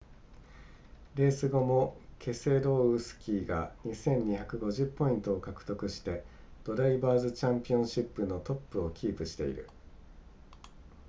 レース後もケセロウスキーが 2,250 ポイントを獲得してドライバーズチャンピオンシップのトップをキープしている